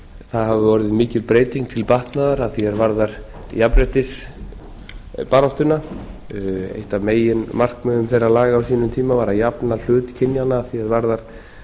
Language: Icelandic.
hafi orðið mikil breyting til batnaðar að því er varðar jafnréttisbaráttuna eitt af meginmarkmiðum þeirra laga á sínum tíma var að jafna hlut kynjanna að því varðar